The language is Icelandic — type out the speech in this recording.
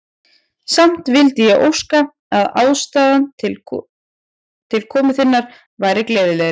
Samt vildi ég óska, að ástæðan til komu þinnar væri gleðilegri.